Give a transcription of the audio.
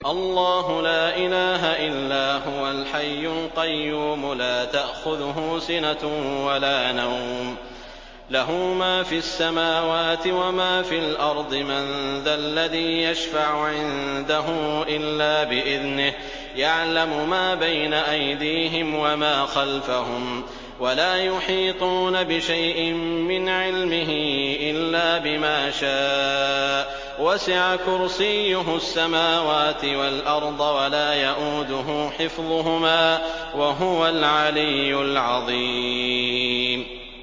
اللَّهُ لَا إِلَٰهَ إِلَّا هُوَ الْحَيُّ الْقَيُّومُ ۚ لَا تَأْخُذُهُ سِنَةٌ وَلَا نَوْمٌ ۚ لَّهُ مَا فِي السَّمَاوَاتِ وَمَا فِي الْأَرْضِ ۗ مَن ذَا الَّذِي يَشْفَعُ عِندَهُ إِلَّا بِإِذْنِهِ ۚ يَعْلَمُ مَا بَيْنَ أَيْدِيهِمْ وَمَا خَلْفَهُمْ ۖ وَلَا يُحِيطُونَ بِشَيْءٍ مِّنْ عِلْمِهِ إِلَّا بِمَا شَاءَ ۚ وَسِعَ كُرْسِيُّهُ السَّمَاوَاتِ وَالْأَرْضَ ۖ وَلَا يَئُودُهُ حِفْظُهُمَا ۚ وَهُوَ الْعَلِيُّ الْعَظِيمُ